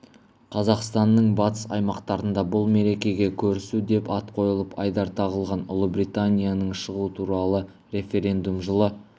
қазақстанның батыс аймақтарында бұл мерекеге көрісу деп ат қойылып айдар тағылған ұлыбританияның шығу туралы референдум жылы